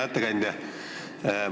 Hea ettekandja!